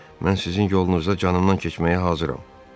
Mən sizin yolunuza canımnan keçməyə hazıram.